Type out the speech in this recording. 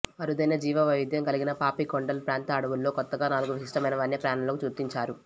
అరుదైన జీవవైవిధ్యం కలిగిన పాపికొండలు ప్రాంత అడవుల్లో కొత్తగా నాలుగు విశిష్టమైన వన్యప్రాణులను గుర్తించారు